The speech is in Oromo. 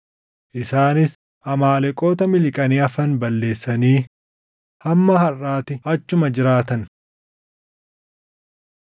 Isaanis Amaaleqoota miliqanii hafan balleessanii hamma harʼaatti achuma jiraatan.